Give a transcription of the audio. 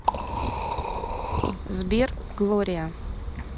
сбер глория